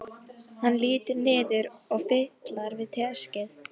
Hann lítur niður og fitlar við teskeið.